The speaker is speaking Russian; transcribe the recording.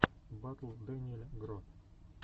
батл дэниель гро